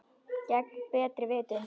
Gegn betri vitund.